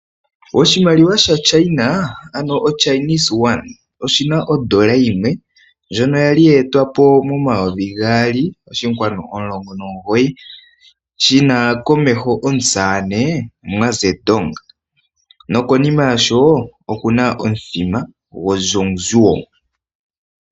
Oshimaliwa shaChina, ano oyuan, oyi na odola yimwe ndjono ya li ye etwa po momayovi gaali oshinkwanu omulongo nomugoyi. Komeho oshi na omusamane Mao Zhendong nokonima ya sho oku na omuthima goZhongguo.